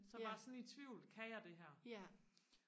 så var sådan i tvivl kan jeg det her